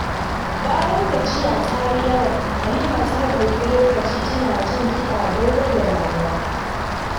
Bayan gajiya ta yi yawa, Halima ta ɗauki lokaci tana jin kiɗa don rage damuwa.